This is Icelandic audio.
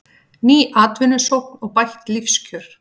Ný atvinnusókn og bætt lífskjör